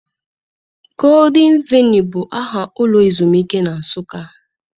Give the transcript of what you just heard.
Golden Valley bụ aha ụlọ ezumike na Nsụka.